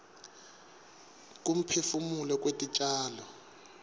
kuphefumula kwetitjalo